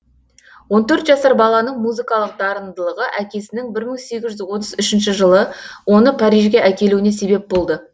он төрт жасар баланың музыкалық дарындылығы әкесінің бір мың сегіз жүз отыз үшінші жылы оны парижге әкелуіне себеп болды